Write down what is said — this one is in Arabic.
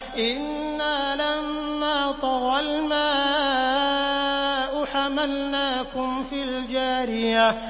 إِنَّا لَمَّا طَغَى الْمَاءُ حَمَلْنَاكُمْ فِي الْجَارِيَةِ